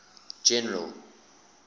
general